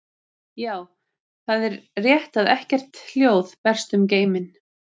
Já, það er rétt að ekkert hljóð berst um geiminn.